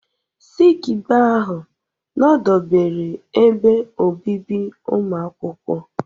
Sikibee ahụ nọdebere ebe obibi ụmụakwụkwọ